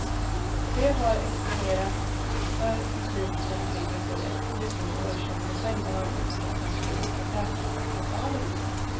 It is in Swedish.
De har exponerats för musik som ligger på de ljudnivåer som de själva har uppskattat finns på träningslokalerna.